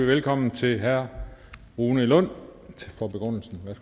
velkommen til herre rune lund